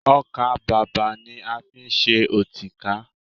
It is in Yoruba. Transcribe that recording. Ọkà-bàbà ni a fi ń ṣe ọtíkà